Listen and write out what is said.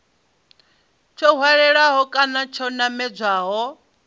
tsho hwalaho kana tsho namedzaho